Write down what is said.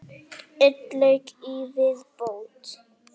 Einn leik í viðbót.